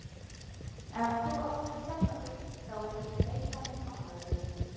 Ef þú átt við sjálfa þig þá er ég meira en ánægður